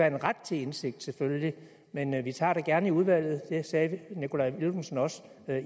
en ret til indsigt selvfølgelig men vi tager det gerne i udvalget det sagde herre nikolaj villumsen også